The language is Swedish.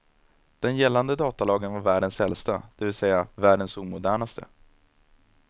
Den gällande datalagen var världens äldsta, det vill säga världens omodernaste.